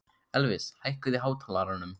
Elvis, hækkaðu í hátalaranum.